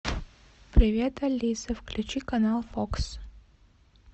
привет алиса включи канал фокс